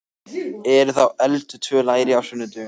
Eru þá elduð tvö læri á sunnudögum?